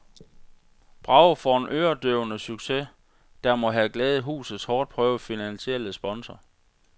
Bravo for en øredøvende succes, der må have glædet husets hårdt prøvede finansielle sponsor.